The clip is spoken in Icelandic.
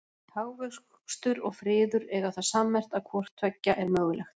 hagvöxtur og friður eiga það sammerkt að hvort tveggja er mögulegt